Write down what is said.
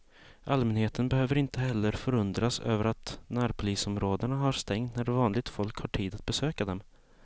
Allmänheten behöver inte heller förundras över att närpolisområdena har stängt när vanligt folk har tid att besöka dem.